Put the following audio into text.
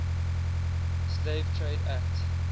slave trade act